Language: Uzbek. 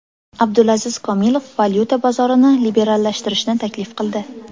Abdulaziz Komilov valyuta bozorini liberallashtirishni taklif qildi.